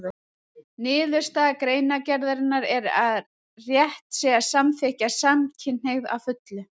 Niðurstaða greinargerðarinnar er að rétt sé að samþykkja samkynhneigð að fullu.